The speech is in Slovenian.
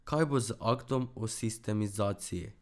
Kaj bo z aktom o sistemizaciji?